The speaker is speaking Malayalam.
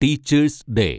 teachers day